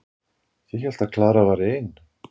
Ég hélt að Klara væri ein.